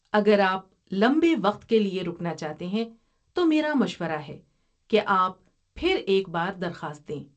اگر آپ لمبے وقت کے لیے رکنا چاہتے ہیں، تو میرا مشورہ ہے کہ آپ پھر ایک بار درخواست دیں۔